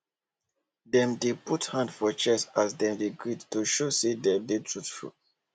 dem dey put hand for chest as dem dey greet to show say dem dey truthful